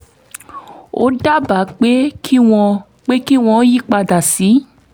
ó dábàá pé kí wọ́n pé kí wọ́n yí padà sí